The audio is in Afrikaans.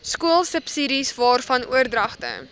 skoolsubsidies waarvan oordragte